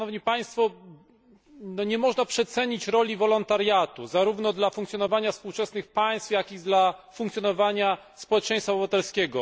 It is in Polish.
Nie można przecenić znaczenia wolontariatu, zarówno dla funkcjonowania współczesnych państw, jak i dla funkcjonowania społeczeństwa obywatelskiego.